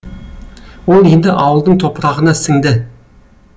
ол енді ауылдың топырағына сіңді